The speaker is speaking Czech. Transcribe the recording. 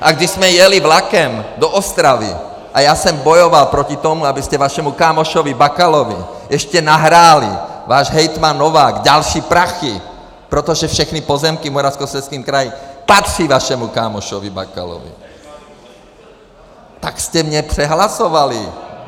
A když jsme jeli vlakem do Ostravy a já jsem bojoval proti tomu, abyste vašemu kámošovi Bakalovi ještě nahráli, váš hejtman Novák, další prachy, protože všechny pozemky v Moravskoslezském kraji patří vašemu kámošovi Bakalovi, tak jste mě přehlasovali.